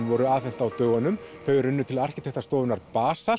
voru afhent á dögunum þau runnu til arkitektastofunnar